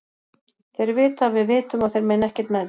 Þeir vita að við vitum að þeir meina ekkert með því.